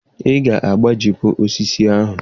Ị ga-egbutu osisi ahụ!